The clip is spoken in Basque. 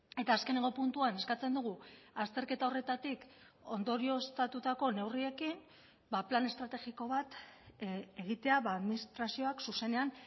eta azkeneko puntuan eskatzen dugu azterketa horretatik ondorioztatutako neurriekin plan estrategiko bat egitea administrazioak zuzenean